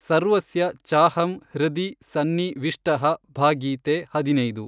ಸರ್ವಸ್ಯ ಚಾಹಂ ಹೃದಿ ಸನ್ನಿ ವಿಷ್ಟಃ ಭ ಗೀತೆ ಹದಿನೈದು.